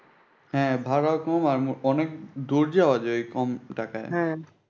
হ্যাঁ ভাড়া ও কম আর অনেক দূর যাওয়া যায় কম টাকায়।